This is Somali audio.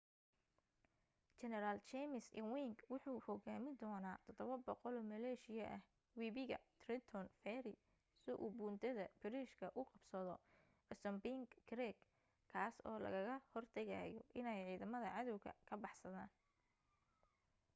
jeneral james ewing wuxuu hogaamin doona 700 maleeshiyo ah weibiga trenton fery si uu buundada/bariijka u qabsado assunpink creek kaas oo lagaga hortagayo iney ciidamada cadawga ka baxsaadaan